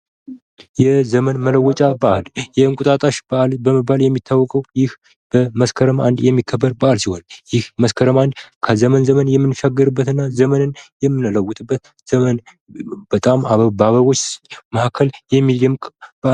የዘመን መለወጫ በዓል የዕንቁጣጣሽ በዓል በመባል የሚታወቀው ይህ መስከረም 1 የሚከበር በዓል ሲሆን፤ ይህ መስከረም 1 ከዘመን ዘመን የሚንሻገርበትና ዘመንን የሚለወጥበት ዘመን በጣም በአበቦች መካከል የሚደንቅ በአል ነው።